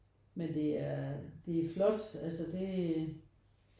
Men det er det er flot altså det